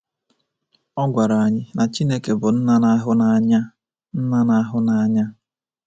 Ọ gwara anyị na Chineke bụ nna na-ahụ n’anya. nna na-ahụ n’anya.